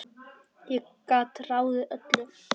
Ég gat ráðið öllu.